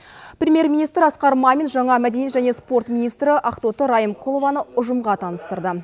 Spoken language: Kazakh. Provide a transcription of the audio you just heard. премьер министрі асқар мамин жаңа мәдениет және спорт министрі ақтоты райымқұлованы ұжымға таныстырды